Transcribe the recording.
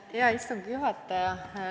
Hea istungi juhataja!